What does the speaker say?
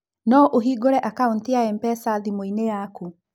No ũhingũre akaũntĩ ya M-pesa thimũ-inĩ yaku.